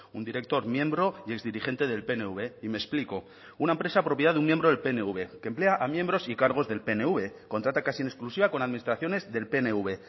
un director miembro y exdirigente del pnv y me explico una empresa propiedad de un miembro del pnv que emplea a miembros y cargos del pnv contrata casi en exclusiva con administraciones del pnv